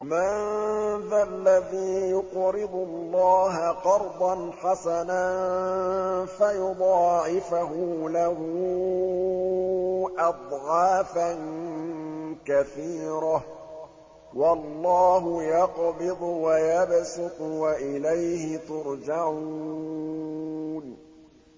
مَّن ذَا الَّذِي يُقْرِضُ اللَّهَ قَرْضًا حَسَنًا فَيُضَاعِفَهُ لَهُ أَضْعَافًا كَثِيرَةً ۚ وَاللَّهُ يَقْبِضُ وَيَبْسُطُ وَإِلَيْهِ تُرْجَعُونَ